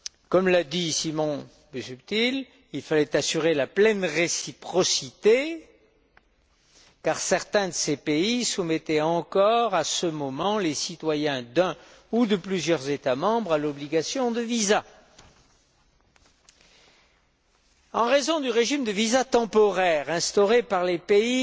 Comme l'a dit Simon Busuttil, il fallait assurer la pleine réciprocité, car certains de ces pays soumettaient encore à ce moment les citoyens d'un ou de plusieurs États membres à l'obligation de visa. En raison du régime de visa temporaire appliqué par les pays